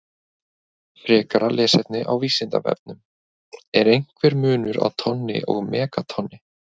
Frekara lesefni á Vísindavefnum: Er einhver munur á tonni og megatonni?